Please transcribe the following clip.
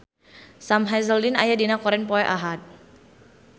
Sam Hazeldine aya dina koran poe Ahad